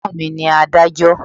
Ẹ̀gbọ́n mi ní adájọ́.